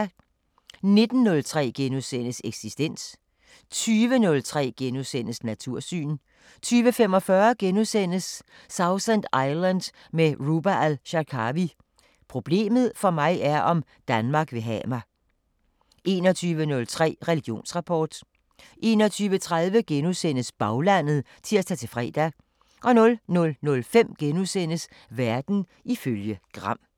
19:03: Eksistens * 20:03: Natursyn * 20:45: Sausan Island med Ruba Al-Sharkawi: "Problemet for mig er, om Danmark vil have mig" * 21:03: Religionsrapport 21:30: Baglandet *(tir-fre) 00:05: Verden ifølge Gram *